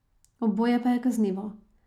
Oboje pa je kaznivo.